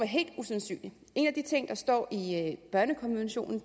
helt usandsynlig en af de ting der står i børnekonventionen